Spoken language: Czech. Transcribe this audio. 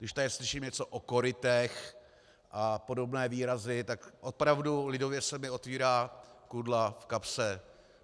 Když tady slyším něco o korytech a podobné výrazy, tak opravdu - lidově - se mi otvírá kudla v kapse.